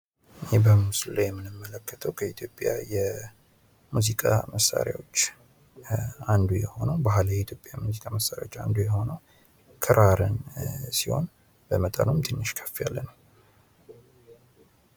ይህ በምስሉ ላይ የምንመለከተዉ ከኢትዮጵያ የሙዚቃ መሳሪያዎች አንዱ የሆነዉ ባህላዊ የኢትዮጵያ የሙዚቃ መሳሪያዎች አንዱ የሆነዉ ክራርን ሲሆን በመጠንም ትንሽ ከፍ ያለ ነዉ።